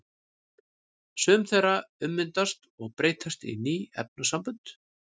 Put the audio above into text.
Sum þeirra ummyndast og breytast í ný efnasambönd.